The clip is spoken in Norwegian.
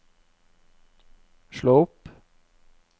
slå opp